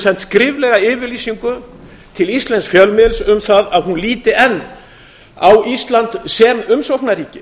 sent skriflega yfirlýsingu til íslensks fjölmiðils um það að hún líti enn á ísland sem umsóknarríki